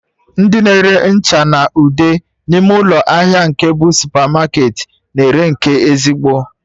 Ndị na-ere ncha na ude n'ime ụlọ ahịa nke bụ supamarketị na ere nke ezigbo